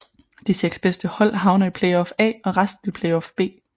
De 6 bedste hold havner i Playoff A og resten i Playoff B